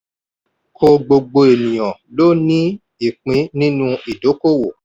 kò gbogbo ènìyàn ló ní ìpín nínú ìdókòwò.